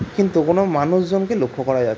কিন্তু কোনো মানুষজনকে লক্ষ করা যা --